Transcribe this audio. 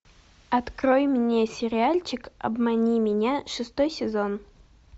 открой мне сериальчик обмани меня шестой сезон